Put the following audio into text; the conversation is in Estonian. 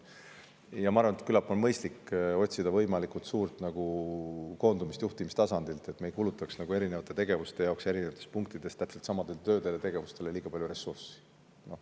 Ja ma arvan, et küllap on mõistlik otsida võimalikult suurt koondumist, juhtimistasandit, et me ei kulutaks tegevuste jaoks eri punktides täpselt samadele töödele liiga palju ressurssi.